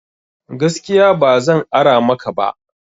Gaskiya ba zan ara maka ba